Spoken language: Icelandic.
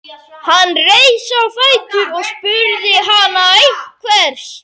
Hann reis á fætur og spurði hana einhvers.